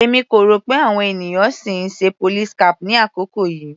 Èmi kò rò pé àwọn ènìyàn sì ń ṣe police cap ní àkókò yìí.